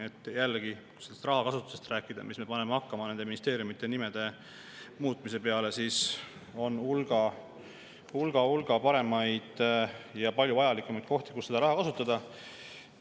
Kui jällegi rahakasutusest rääkida: miks me paneme raha hakkama nende ministeeriumide nimede muutmise peale, kui on hulga paremaid ja palju vajalikumaid kohti, kus seda raha kasutada?